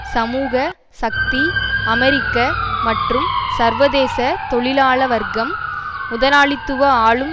சமூக சக்தி அமெரிக்க மற்றும் சர்வதேச தொழிலாள வர்க்கம் முதலாளித்துவ ஆளும்